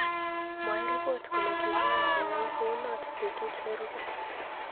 Mwaei ripot kole kimwan koyai kounot petut nerupei